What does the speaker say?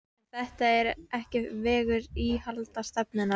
En þetta er ekki vegur íhaldsstefnunnar.